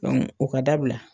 o ka dabila.